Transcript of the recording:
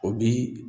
O bi